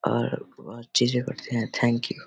और वह चीज़े करते हैं थैंक यू ।